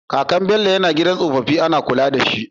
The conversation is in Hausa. Kakan su Bello yAna gidan tsofafin Ana kula dashi